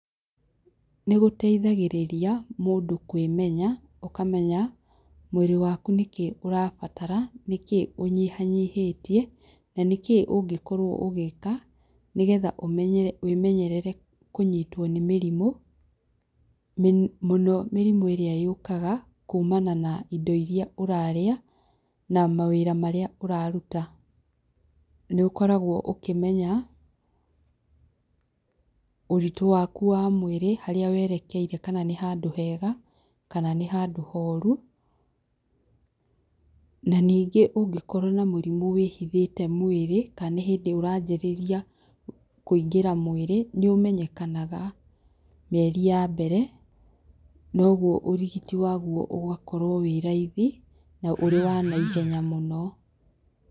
Nĩgũteithagĩrĩria mũndũ kwĩmenya ũkamenya mwĩrĩ waku nĩkĩĩ ũrabatara, nĩkĩĩ ũnyihanyihĩtie na nĩkĩĩ ũngĩkorwo ũgĩka nĩgetha wĩmenyerere kũnyitwo nĩ mĩrimũ mũno mĩrimũ ĩrĩa yũkaga kumana na indo iria ũrarĩa na mawĩra marĩa ũraruta. Nĩũkoragwo ũkĩmenya ũritũ waku wa mwĩrĩ harĩa werekeire kana nĩ handũ hega kana nĩ handũ horu, na ningĩ ũngĩkorwo na mũrimũ wĩhithĩte mwĩri kana nĩ hĩndĩ ũranjĩrĩria kũingĩra mwĩrĩ, nĩ ũmenyekanaga mĩeri ya mbere noguo ũrigiriti waguo ũgakorwo wĩ raithi na ũrĩ wa naihenya mũno.